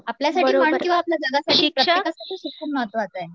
आपल्यासाठी म्हण किंवा आपल्या जगासाठी प्रत्येकांसाठी शिक्षण महत्त्वाचे आहे